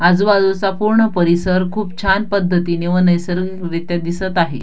आजूबाजूचा पूर्ण परिसर खूप छान पद्धतीने व नैसर्गिक रित्या दिसत आहे.